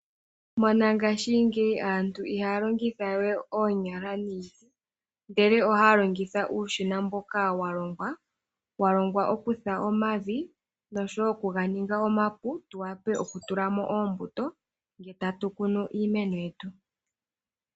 Monangashingeyi aantu ihaya longitha we oonyala niiti ndele ohaya longitha uushina mboka walongwa okutha omavi noshowo okuganinga omapu tuwape okutulamo oombuto nge tatu kunu iimeno yetu.